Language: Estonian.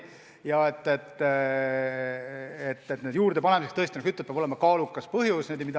Aga kohustuste juurdepanemiseks tõesti, nagu sa ütled, peab olema kaalukas põhjus.